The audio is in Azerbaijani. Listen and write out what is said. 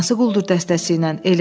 Hansı quldur dəstəsi ilə?